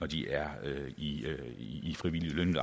de er i frivilligt